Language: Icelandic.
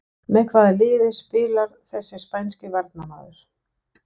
Með hvaða liði spilar þessi spænski varnarmaður?